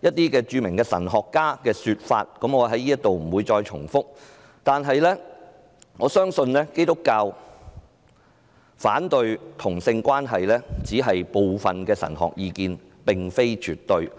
一些著名神學家的說法，我不在這裏重複，但我相信基督教反對同性關係只是部分神學家的意見，並非絕對。